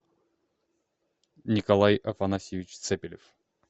николай афанасьевич цепелев